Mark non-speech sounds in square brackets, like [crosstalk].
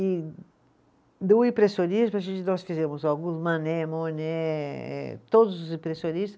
E do impressionismo, a gente, nós fizemos alguns, [unintelligible] eh todos os impressionistas.